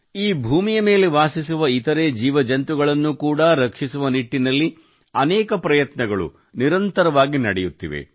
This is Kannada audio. ಈ ಭೂಮಿಯ ಮೇಲೆ ವಾಸಿಸುವ ಇತರೆ ಜೀವ ಜಂತುಗಳನ್ನು ಕೂಡಾ ರಕ್ಷಿಸುವ ನಿಟ್ಟಿನಲ್ಲಿ ಅನೇಕ ಪ್ರಯತ್ನಗಳು ನಿರಂತರವಾಗಿ ನಡೆಯುತ್ತಿವೆ